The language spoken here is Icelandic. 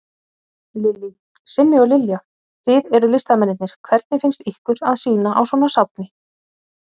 Lillý: Simmi og Lilja, þið eruð listamennirnir, hvernig finnst ykkur að sýna á svona safni?